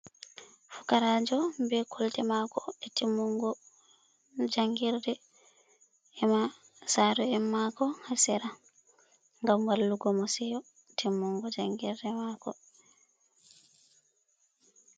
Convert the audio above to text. Fukaraajo be kolte mako e timmungo jangirde, e'ma saro en mako ha sear, ngam wallugo mo seyo timmungo jangirde mako.